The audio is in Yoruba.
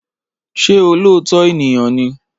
Ṣé olóòótọ́ èèyàn ni?